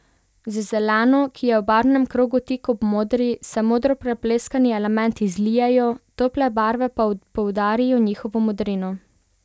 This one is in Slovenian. Z zeleno, ki je v barvnem krogu tik ob modri, se modro prepleskani elementi zlijejo, tople barve pa poudarijo njihovo modrino.